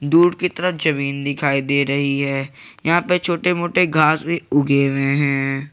दूर की तरह जमीन दिखाई दे रही है यहां पर छोटे मोटे घास भी उगे हुए हैं।